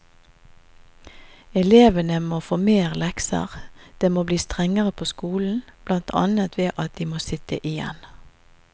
Elevene må få mer lekser, det må bli strengere på skolen, blant annet ved at de må sitte igjen.